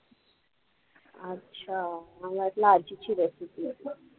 अच्छा, मला वाटलं आजीची recipe आहे.